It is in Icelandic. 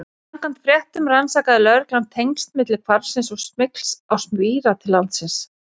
Samkvæmt fréttum rannsakaði lögreglan tengsl milli hvarfsins og smygls á spíra til landsins.